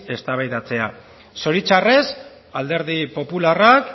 eztabaidatzea zoritxarrez alderdi popularrak